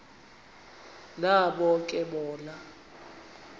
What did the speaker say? nabo ke bona